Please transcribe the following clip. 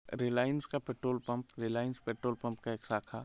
Reliance का एक petrol pump Reliance petrol (petrol) pump का एक शाखा--